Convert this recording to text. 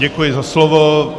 Děkuji za slovo.